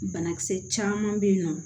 Banakisɛ caman bɛ yen nɔ